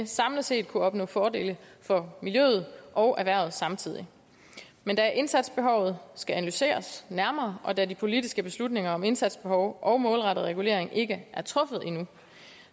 samlet set kunne opnå fordele for miljøet og erhvervet samtidig men da indsatsbehovet skal analyseres nærmere og da de politiske beslutninger om indsatsbehov og målrettet regulering ikke er truffet nu